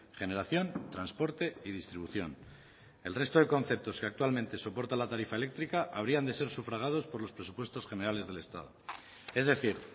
generación transporte y distribución el resto de conceptos que actualmente soporta la tarifa eléctrica habrían de ser sufragados por los presupuestos generales del estado es decir